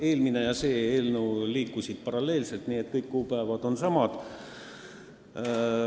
Eelmine ja see eelnõu liikusid komisjonis paralleelselt, nii et kõik kuupäevad on samad.